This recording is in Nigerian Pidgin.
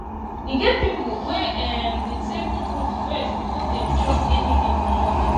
e get pipo wey um dey take fruit first before dem chop anything for morning